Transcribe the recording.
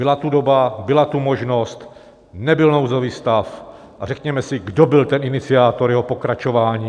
Byla tu doba, byla tu možnost, nebyl nouzový stav a řekněme si, kdo byl ten iniciátor jeho pokračování.